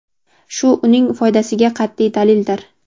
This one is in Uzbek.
shu uning foydasiga qat’iy dalildir.